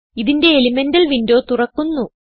ഇതിന്റെ elemental window തുറക്കുന്നു